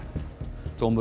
dómur